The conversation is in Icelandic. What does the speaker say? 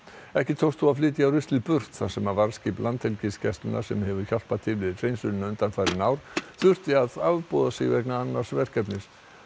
ekki tókst þó að flytja ruslið burt þar sem varðskip Landhelgisgæslunnar sem hefur hjálpað til við hreinsunina undanfarin ár þurfti að afboða sig vegna annars verkefnis